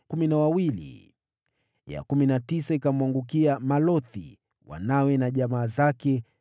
ya kumi na tisa ikamwangukia Malothi, wanawe na jamaa zake, 12